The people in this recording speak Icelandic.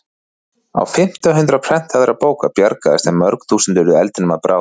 Á fimmta hundrað prentaðra bóka bjargaðist en mörg þúsund urðu eldinum að bráð.